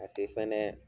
Ka se fɛnɛ